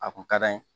A kun ka d'an ye